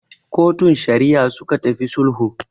Kotun Shari'a suka tafi sulhun.